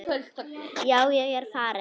Já, ég er farinn.